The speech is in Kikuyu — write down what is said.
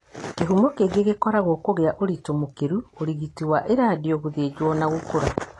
Kĩhumo kĩngĩ. gĩkoragwo kũgĩa ũritũ mũkĩru, ũrigiti wa iradiyo, gũthĩnjo na gũkũũra.